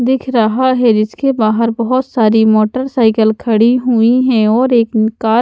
दिख रहा है जिसके बाहर बहुत सारी मोटरसाइकिल खड़ी हुई हैं और एक कार --